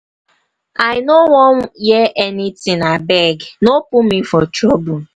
i no wan hear anything. abeg no put me for trouble.